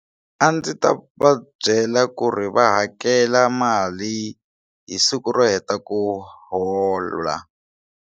A ndzi ta va byela ku ri va hakela mali hi siku ro heta ku hola.